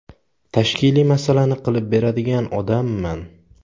– Tashkiliy masalasini qilib beradigan odamman.